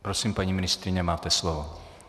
Prosím, paní ministryně, máte slovo.